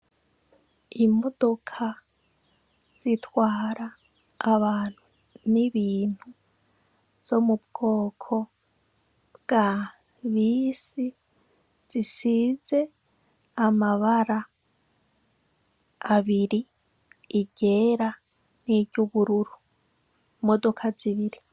Imodoka zitwara abantu n'ibintu, zo mu bwoko bwa bisi, zisize amabara abiri, iryera n'iryubururu. Imodoka zibiri.